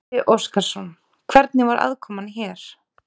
Gísli Óskarsson: Hvernig var aðkoman hér?